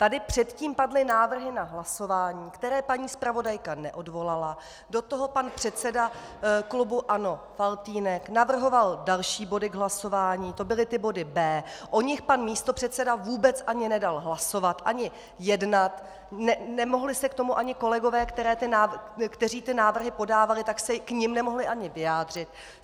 Tady předtím padly návrhy na hlasování, které paní zpravodajka neodvolala, do toho pan předseda klubu ANO Faltýnek navrhoval další body k hlasování, to byly ty body B. O nich pan místopředseda vůbec ani nedal hlasovat ani jednat, nemohli se k tomu ani kolegové, kteří ty návrhy podávali, tak se k nim nemohli ani vyjádřit.